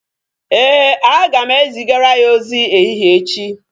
Éè, aga m zigara ya ozi ehihie echi